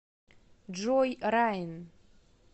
джой райан